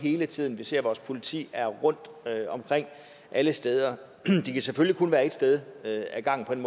hele tiden vi ser at vores politi er rundt omkring alle steder de kan selvfølgelig kun være et sted ad gangen